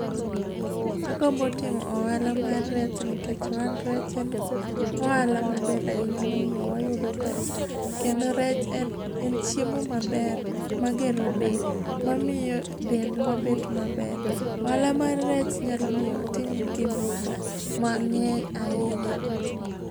Agombo timo ohala mar rech ni kech ohand rech en ohala ma ber ahinya mo miyo wayudo pesa kendo rech en chiemo ma ber ma ge ro del ma mi yo de ndwa bet ma ber ohala mar rech nyalo miyo atim gik moko ma ngeny a hinya